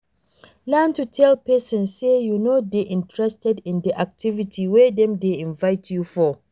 Learn to tell person sey you no dey interested in di activity wey dem dey invite you for